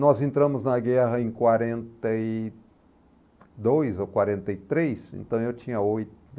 Nós entramos na guerra em quarenta e dois ou quarenta e três, então eu tinha oito.